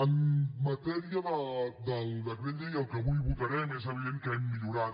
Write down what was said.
en matèria del decret llei el que avui votarem és evident que hem millorat